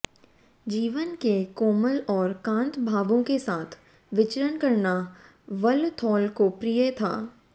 जीवन के कोमल और कांत भावों के साथ विचरण करना वल्लथोल को प्रिय था